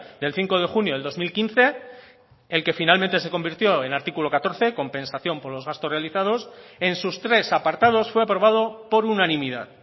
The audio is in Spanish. del cinco de junio del dos mil quince el que finalmente se convirtió en artículo catorce compensación por los gastos realizados en sus tres apartados fue aprobado por unanimidad